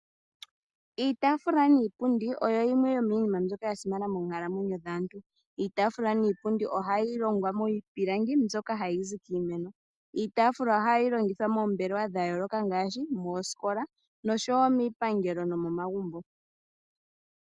Iitaafula niipundi oyo yimwe yomiinima mbyoka ya simana moonkalamwenyo dhaantu. Iitaafula niipundi ohayi longwa miipilangi mbyoka hayi zi kiimeno. Iitaafula ohayi longithwa moombelewa dha yooloka ngaashi moosikola noshowo miipangelo nomomagumbo.